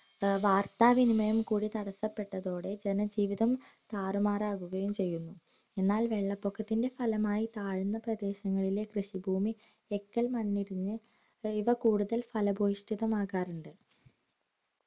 ഏർ വാർത്താവിനിമയം കൂടി തടസപ്പെട്ടതോടെ ജനജീവിതം താറുമാറാകുകായും ചെയ്യുന്നു എന്നാൽ വെള്ളപൊക്കത്തിന്റെ ഫലമായി താഴ്ന്ന പ്രദേശങ്ങളിലെ കൃഷി ഭൂമി എക്കൽ മണ്ണടിഞ്ഞ് ഇവ കൂടുതൽ ഫലപുഷ്ടമാകാറുണ്ട്